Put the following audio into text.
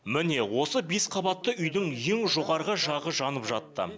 міне осы бес қабатты үйдің ең жоғарғы жағы жанып жатты